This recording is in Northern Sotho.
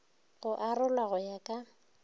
go arolwa go ya ka